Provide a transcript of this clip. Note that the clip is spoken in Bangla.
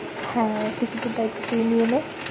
হ্যাঁ টিকিটের দায়িত্ব তুই নিয়ে নে।